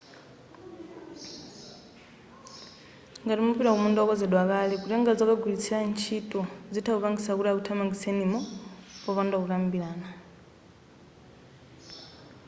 ngati mupita kumunda wokonzedwa kale kutenga zokagwiritsa ntchito zitha kupangisa kuti akuthamangitsenimo popanda kukambirana